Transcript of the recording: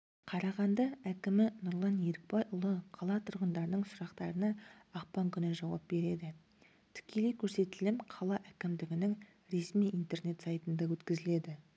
қрағанды әкімі нұрлан ерікбайұлы қала тұрғындарының сұрақтарына ақпан күні жауап береді тікелей көрсетілім қала әкімдігінің ресми интернет сайтында өткізіледі